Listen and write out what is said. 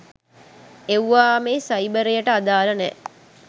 එව්වා මේ සයිබරයට අදාල නෑ.